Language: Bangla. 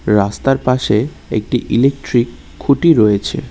রাস্তার পাশে একটি ইলেকট্রিক খুঁটি রয়েছে।